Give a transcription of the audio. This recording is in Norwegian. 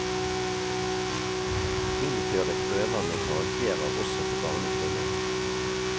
Innføre prøver med karakterer også på barnetrinnet.